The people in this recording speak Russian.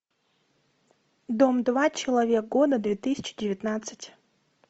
дом два человек года две тысячи девятнадцать